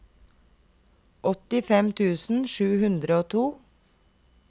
åttifem tusen sju hundre og to